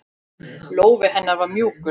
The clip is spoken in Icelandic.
Lófi hennar var mjúkur.